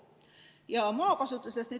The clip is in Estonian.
Nüüd maakasutusest.